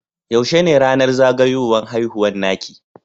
Yaushe ne ranar zagayuwan haihuwa naki?